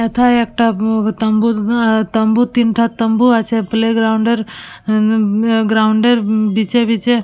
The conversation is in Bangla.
এতে একটা বৱ তাম্বু ননন তাম্বুর তিনভাগ তাম্বু আছে প্লেগ্রাউন্ড আৱৰ উমমম এর গ্রাউন্ড -এর বিচ -এ বিচ -এ।